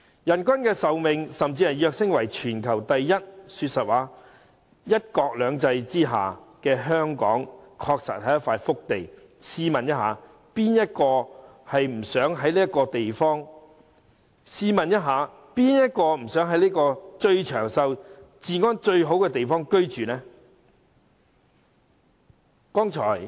香港的人均壽命甚至躍升為全球第一，說實話，在"一國兩制"下的香港，確實是一塊福地，試問誰不想在最長壽、治安最好的地方居住？